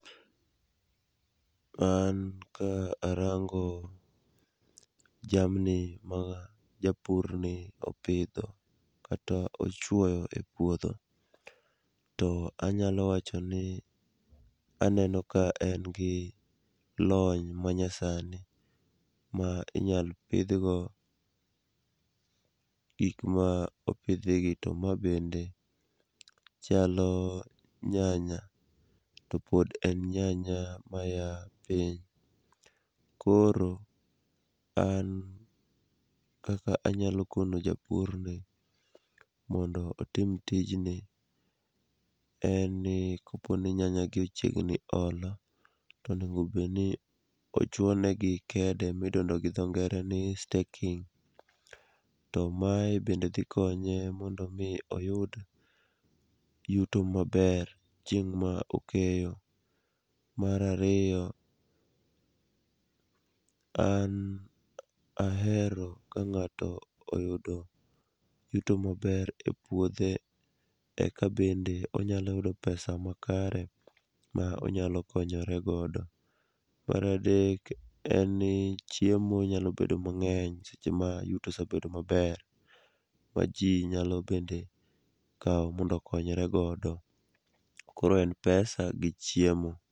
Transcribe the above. An ka arango jamni ma japurni opidho kata ochwoyo e puodho, to anyalo wacho ni aneno ka en gi lony manyasani ma inyalo pidhgo gik ma opidhigi to ma bende chalo nyanya, topod en nyanya maya piny. Koro an kaka anyalo kono japurni mondo otim tijni, en ni koponi nyanyagi ochiegni olo, to onego obed ni ochwo negi kede midendo gi dho ngere ni staking to mae bende dhi konye mondo omi oyud yuto maber chieng' ma okeyo. Mar ariyo, an ahero ka ng'ato oyudo yuto maber epuothe, eka bende onyalo yudo pesa makare ma onyalo konyoregodo. Mar adek en ni chiemo nyalo bedo mang'eny seche ma yuto osebedo maber, ma ji nyalo bende kawo mondo okonyre godo. Koro en pesa gi chiemo.